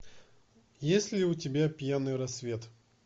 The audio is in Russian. есть ли у тебя пьяный рассвет